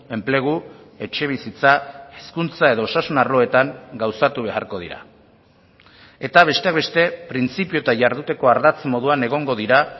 enplegu etxebizitza hezkuntza edo osasun arloetan gauzatu beharko dira eta besteak beste printzipio eta jarduteko ardatz moduan egongo dira